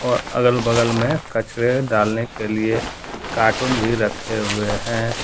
और अगल बगल में कचरे डालने के लिए कार्टून भी रखे हुए हैं।